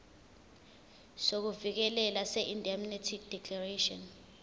sokuvikeleka seindemnity declaration